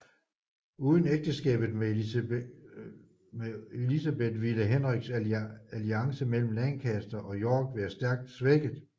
Uden ægteskabet med Elizabeth ville Henriks alliance mellem Lancaster og York være stærkt svækket